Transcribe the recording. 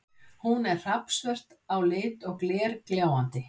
Hún er hrafnsvört á lit og glergljáandi.